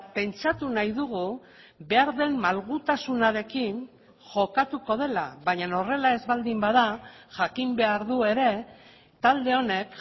pentsatu nahi dugu behar den malgutasunarekin jokatuko dela baina horrela ez baldin bada jakin behar du ere talde honek